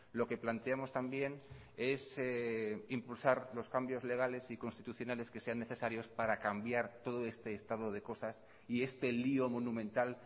lo que planteamos también es impulsar los cambios legales y constitucionales que sean necesarios para cambiar todo este estado de cosas y este lío monumental